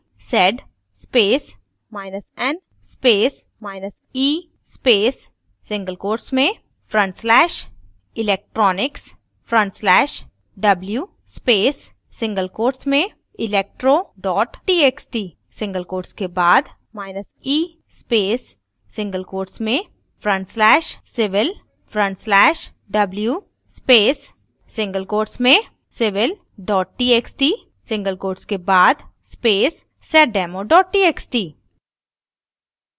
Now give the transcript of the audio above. type करें: sed spacen spacee space single quotes में front slash /electronics/w space single quotes में electro txt single quotes के बाद e space single quotes में front slash /civil/w space single quotes में civil txt single quotes के बाद space seddemo txt